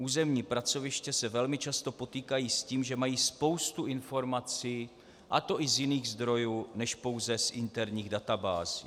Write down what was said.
Územní pracoviště se velmi často potýkají s tím, že mají spoustu informací, a to i z jiných zdrojů než pouze z interních databází."